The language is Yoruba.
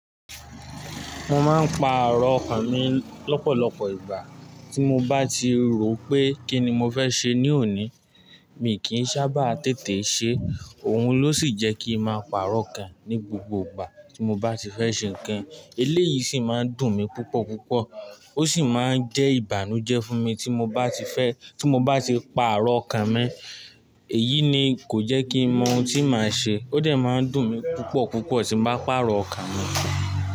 Mo máa ń pa àárọ̀ ọkà mi lọ́pọ̀lọpọ̀ ìgbà tí mo bá ti rò pé kí ni mo fẹ́ ṣe ní òní. Mi kì í sábà tètè ṣe, òun ló sì jẹ́ kí ń máa pa àárọ̀ ọkà ní gbogbo ìgbà tí mo bá ti fẹ́ ṣe nǹkan. Eléyìí sì máa ń dùn mí púpọ̀ púpọ̀ ó sì máa ń jẹ́ ìbànújẹ́ fún mi tí mo bá ti fẹ́ tí mo bá ti pa àárọ̀ ọkà mi. Èyí ni kò jẹ́ kí ń mọ ohun tí màá ṣe, ó dà máa ń dùn mí púpọ̀ púpọ̀ tí mo bá pa àárọ̀ ọkà mi.